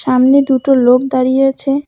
আমনে দুটো লোক দাঁড়িয়ে আছে।